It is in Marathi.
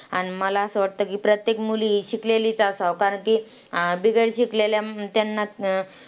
आन मला असं वाटतं की प्रत्येक मुलगी ही शिकलेलीच असांव कारण की, अं बिगर शिकलेल्या त्यांना अं